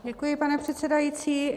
Děkuji, pane předsedající.